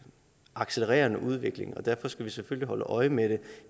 accelererende udvikling og derfor skal vi selvfølgelig holde øje med det